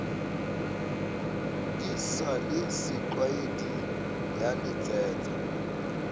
di sa le setlwaeding yaletsetsa